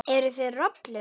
Eruð þið rollur?